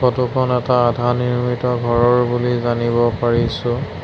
Photo খন এটা আধা নিৰ্মিত ঘৰৰ বুলি জানিব পাৰিছোঁ।